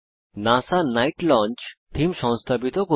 NASA night launch theme সংস্থাপিত করা